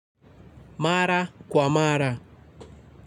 Mara kwa mara.